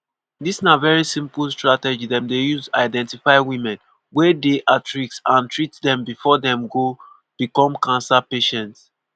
“dis na very simple strategy dem dey use identify women wey dey at risk and treat dem before dem go become cancer patients.